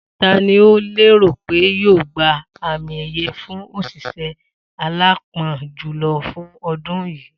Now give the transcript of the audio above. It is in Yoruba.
Ta ni o lérò pé yóò gba àmì è̩ye̩ fún òs̩ìs̩é̩ aláápo̩n jùlo̩ fún o̩dún yìí?